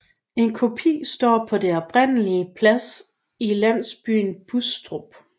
En kopi står på den oprindelige plads i landsbyen Bustrup